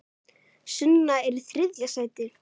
Sunna er í þriðja sæti.